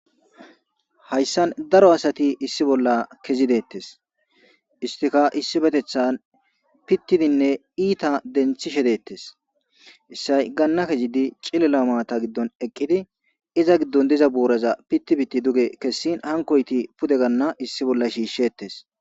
hayssan daro asati issi bolla kezidettes istika issi betethan pittidinne iita denthishe deettes issay ganna kezidi cilela maata giddon eqqidi iza giddon diza buuraza pittibitti duge kessin hankoyti pude ganna issi bolla shiishshetes